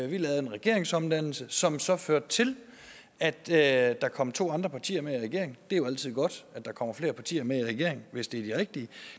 vi lavede en regeringsomdannelse som så førte til at der kom to andre partier med i regeringen det er jo altid godt at der kommer flere partier med i regeringen hvis det er de rigtige